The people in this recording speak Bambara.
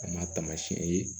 A ma taamasiyɛn ye